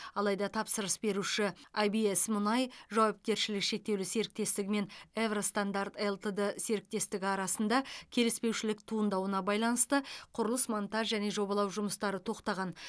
алайда тапсырыс беруші айбиэс мұнай жауапкершілігі шектеулі серіктестігі мен эвро стандарт лтд серіктестігі арасында келіспеушілік туындауына байланысты құрылыс монтаж және жобалау жұмыстары тоқтаған